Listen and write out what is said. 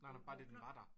Nej nej bare det den var der